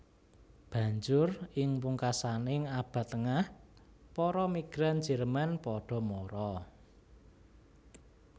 Banjur ing pungkasaning Abad Tengah para migran Jerman padha mara